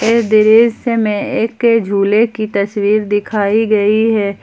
इस दृश्य में एक झूले की तस्वीर दिखाई गई है।